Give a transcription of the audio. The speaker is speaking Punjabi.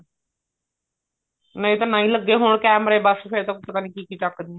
ਨਹੀਂ ਤਾਂ ਨਾ ਹੀ ਲੱਗੇ ਹੋਣ ਕੇਮਰੇ ਬੱਸ ਫ਼ੇਰ ਤਾਂ ਪਤਾ ਨੀ ਕੀ ਕੀ ਚੱਕਦੇ